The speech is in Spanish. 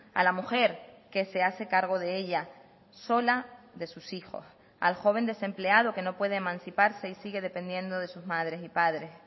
a la mujer que se hace cargo de ella sola de sus hijos al joven desempleado que no puede emanciparse y sigue dependiendo de sus madres y padres